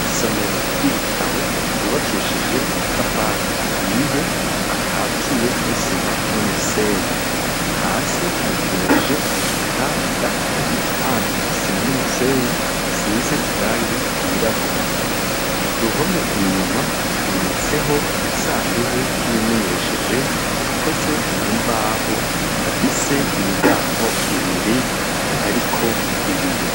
Isomero ry'ibitabo ryubakishije amatafari ahiye, akatiye n'isima n'umusenyi, hasi hakenyeje umukanda w'igipande c'isima n'umusenyi, risize irangi ryirabura. Ku ruhome inyuma, hamanitseho agasandugu k'ibimenyesheje, gakoze mu mbaho, gafise imiryango ibiri hariko ibiyo.